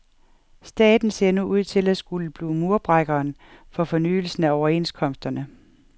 Staten ser nu ud til at skulle blive murbrækkeren for fornyelsen af overenskomsterne.